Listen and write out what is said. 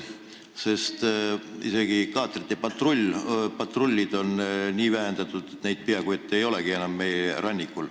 Isegi kaatrite patrulle on nii palju vähendatud, et neid meie rannikul peaaegu ei olegi enam.